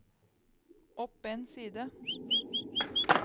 opp en side